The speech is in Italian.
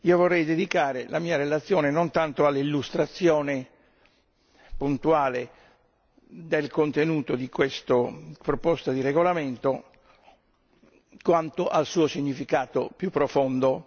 Vorrei dedicare la mia relazione non tanto all'illustrazione puntuale del contenuto di questa proposta di regolamento, quanto al suo significato più profondo.